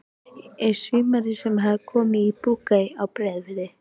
Um sumarið hafði hann komið í Brokey á Breiðafirði.